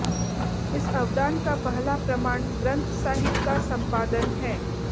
इस अवदान का पहला प्रमाण ग्रंथ साहिब का संपादन है